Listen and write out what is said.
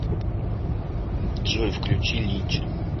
джой включи линча